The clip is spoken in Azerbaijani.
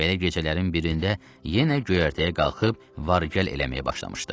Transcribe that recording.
Belə gecələrin birində yenə göyərtəyə qalxıb var-gəl eləməyə başlamışdı.